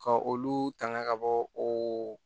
Ka olu tanga ka bɔ o